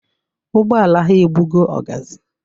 Ụgbọala ha egbugo ọgazị.